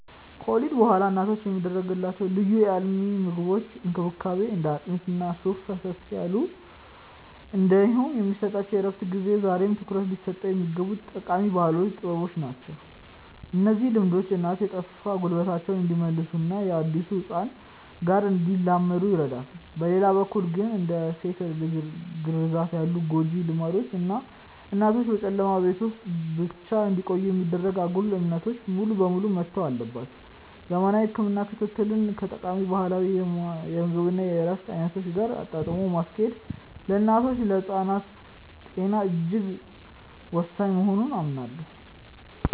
ከወሊድ በኋላ እናቶች የሚደረግላቸው ልዩ የአልሚ ምግቦች እንክብካቤ (እንደ አጥሚት እና ሱፍ ፈሰስ ያሉ) እንዲሁም የሚሰጣቸው የእረፍት ጊዜ ዛሬም ትኩረት ሊሰጣቸው የሚገቡ ጠቃሚ ባህላዊ ጥበቦች ናቸው። እነዚህ ልምዶች እናቶች የጠፋ ጉልበታቸውን እንዲመልሱና ከአዲሱ ህፃን ጋር እንዲላመዱ ይረዳሉ። በሌላ በኩል ግን፣ እንደ ሴት ልጅ ግርዛት ያሉ ጎጂ ልማዶች እና እናቶችን በጨለማ ቤት ውስጥ ብቻ እንዲቆዩ የማድረግ አጉል እምነቶች ሙሉ በሙሉ መተው አለባቸው። ዘመናዊ የህክምና ክትትልን ከጠቃሚ ባህላዊ የምግብ እና የእረፍት አይነቶች ጋር አጣጥሞ ማስኬድ ለእናቶችና ለህፃናት ጤና እጅግ ወሳኝ መሆኑን አምናለሁ።